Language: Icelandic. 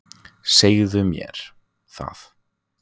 Segðu mér það.